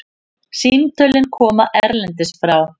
Símtölin koma erlendis frá.